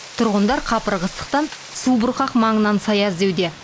тұрғындар қапырық ыстықтан субұрқақ маңынан сая іздеуде